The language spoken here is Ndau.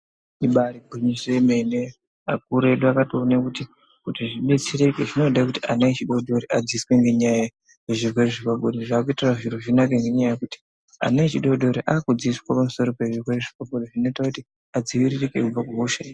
Ibari gwinyiso yemene akuru edu akatoone kuti zvidetsereke zvinode kuti ana adodori adzidziswe Ngenyaya yezvirwere zvepabonde zvoita kuti adziviririke kubva kuhosha iyi.